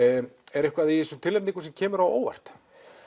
er eitthvað í þessum tilnefningum sem kemur á óvart